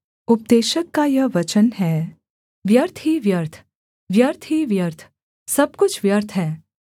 उपदेशक का यह वचन है व्यर्थ ही व्यर्थ व्यर्थ ही व्यर्थ सब कुछ व्यर्थ है